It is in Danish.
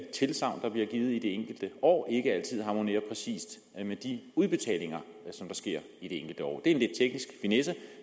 tilsagn der bliver givet i de enkelte år ikke altid harmonerer præcis med de udbetalinger som sker i de enkelte år det er en lidt teknisk finesse